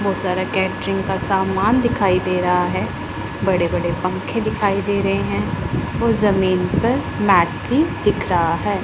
बहोत सारा कैटरिंग का सामान दिखाई दे रहा है बड़े बड़े पंखे दिखाई दे रहे हैं और जमीन पर मैट भी दिख रहा है।